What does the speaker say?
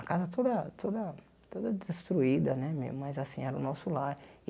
A casa toda toda toda destruída né, mas assim, era o nosso lar.